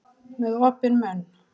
Með opinn munn.